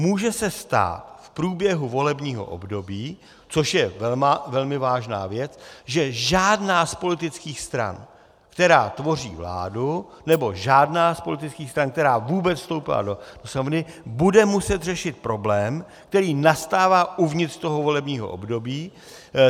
Může se stát v průběhu volebního období, což je velmi vážná věc, že žádná z politických stran, která tvoří vládu, nebo žádná z politických stran, která vůbec vstoupila do Sněmovny, bude muset řešit problém, který nastává uvnitř toho volebního období.